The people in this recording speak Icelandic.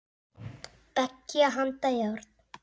Beggja handa járn.